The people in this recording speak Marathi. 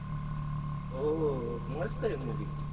हो हो मस्त आहे movie